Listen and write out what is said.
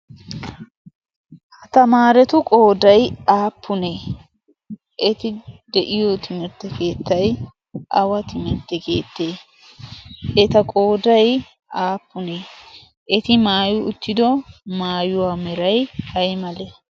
Ha tamaretu qooday aappune? eti de'iyo timirtte keettay awa timirtte keette? eta qooday aappunne? eti maayyi uttidi maayuwaa meray aymale?